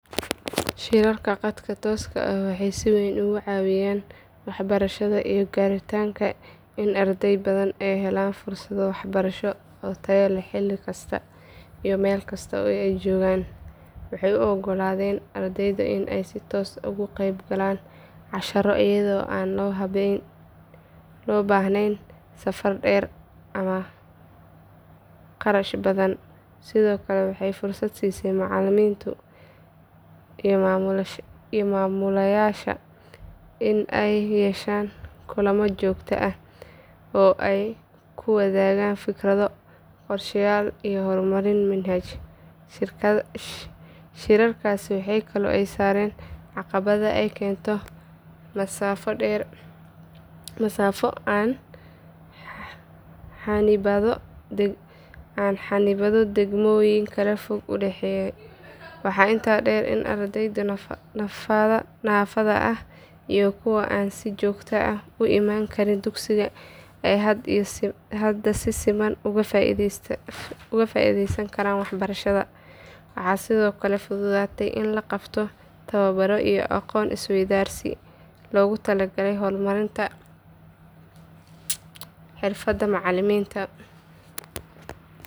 Shirarka khadka tooska ah waxay si weyn uga caawiyeen waxbarashada iyo gaaritaanka in arday badan ay helaan fursado waxbarasho oo tayo leh xilli kasta iyo meel kasta oo ay joogaan. Waxay u oggolaadeen ardayda in ay si toos ah uga qeybgalaan casharro iyadoo aan loo baahnayn safar dheer ama kharash badan. Sidoo kale waxay fursad u siiyeen macalimiinta iyo maamulayaasha in ay yeeshaan kulamo joogto ah oo ay ku wadaagaan fikrado, qorsheyaal iyo horumarin manhaj. Shirarkaasi waxay kaloo ka saareen caqabadaha ay keento masaafo ama xannibaado degmooyin kala fog u dhexeeya. Waxaa intaa dheer in ardayda naafada ah iyo kuwa aan si joogto ah u iman karin dugsiga ay hadda si siman uga faa’iideysan karaan waxbarashada. Waxaa sidoo kale fududaaday in la qabto tababaro iyo aqoon isweydaarsi loogu talagalay horumarinta xirfadaha macalimiinta.